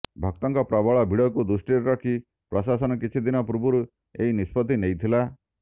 ଭକ୍ତଙ୍କ ପ୍ରବଳ ଭିଡ଼କୁ ଦୃଷ୍ଟିରେ ରଖି ପ୍ରଶାସନ କିଛି ଦିନ ପୂର୍ବରୁ ଏହି ନିଷ୍ପତ୍ତି ନେଇଥିଲା